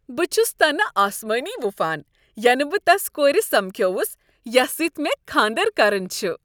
بہ چھُس تنہ اسمٲنۍ وپھان ینہ بہ تس کورِ سمکھیوس یس سۭتۍ مےٚ کھاندر کرُن چھُ۔